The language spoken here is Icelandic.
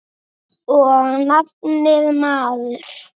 Og nafnið, maður.